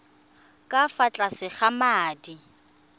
ka fa tlase ga madi